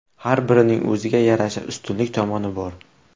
Har birining o‘ziga yarasha ustunlik tomoni bor.